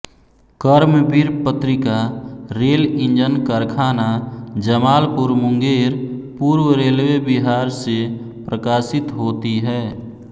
कर्मवीर पत्रिका rail engine कारखाना जमालपुर मुंगेर पूर्व रेलवे विहार से प्रकाशित होती हॅ